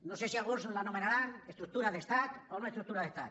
no sé si alguns l’anomenaran estructura d’estat o noestructura d’estat